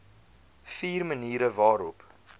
vier maniere waarop